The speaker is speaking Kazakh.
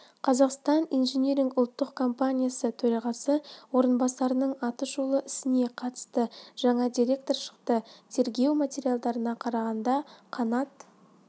қазақстан инжиниринг ұлттық компаниясы төрағасы орынбарасының атышулы ісіне қатысты жаңа деректер шықты тергеу материалдарына қарағанда қанат